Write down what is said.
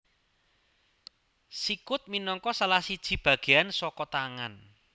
Sikut minangka salah siji bagéan saka tangan